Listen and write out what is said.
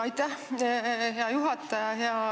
Aitäh, hea juhataja!